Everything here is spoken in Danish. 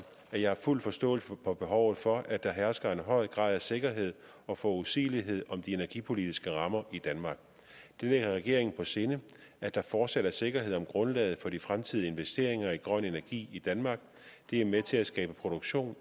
at jeg har fuld forståelse for behovet for at der hersker en høj grad af sikkerhed og forudsigelighed om de energipolitiske rammer i danmark det ligger regeringen på sinde at der fortsat er sikkerhed om grundlaget for de fremtidige investeringer i grøn energi i danmark det er med til at skabe produktion